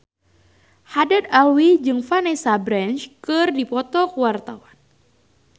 Haddad Alwi jeung Vanessa Branch keur dipoto ku wartawan